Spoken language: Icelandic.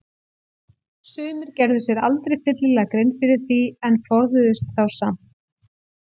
Sumir gerðu sér aldrei fyllilega grein fyrir því en forðuðust þá samt.